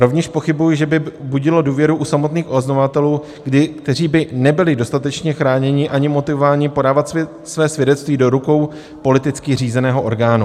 Rovněž pochybuji, že by budilo důvěru u samotných oznamovatelů, kteří by nebyli dostatečně chráněni ani motivováni podávat své svědectví do rukou politicky řízeného orgánu.